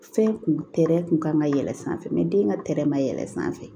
Fɛn kun tɛrɛn kun kan ka yɛlɛn sanfɛ den ka tɛrɛ ma yɛlɛ sanfɛ